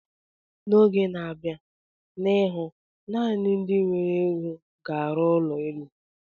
N'oge n'abia n'ihu, naanị ndị nwere ego ga arụ ụlọ elu.